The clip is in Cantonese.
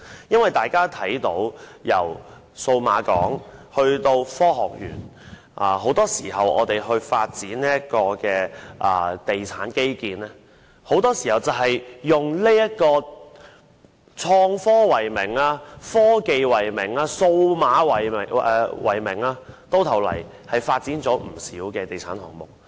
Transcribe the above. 因為大家看到，由數碼港以至香港科學園，很多時候，在發展地產基建時會以創科、科技及數碼為名發展不少地產項目。